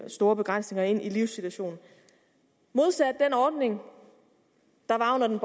store begrænsninger ind i livssituationen modsat den ordning der var under den